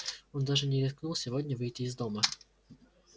он даже не рискнул сегодня выйти из дома